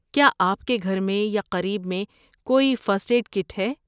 کیا آپ کے گھر میں یا قریب میں کوئی فرسٹ ایڈ کٹ ہے؟